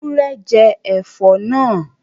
Ewúrẹ́ jẹ ẹ̀fọ́ náà